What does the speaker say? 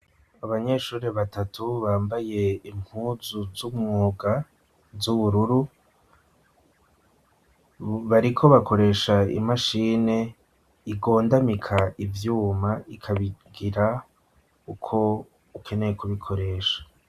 Abanyeshure batatu, bambaye impuzu z'umwuga, z'ubururu, bariko bakoresha imashine igondamika ivyuma, ikabigira uko ukeneye kubikoresha.